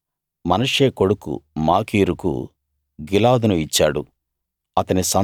మోషే మనష్షే కొడుకు మాకీరుకు గిలాదును ఇచ్చాడు